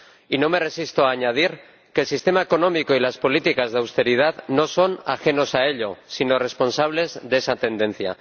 Y no me resisto a añadir que el sistema económico y las políticas de austeridad no son ajenos a ello, sino responsables de esa tendencia.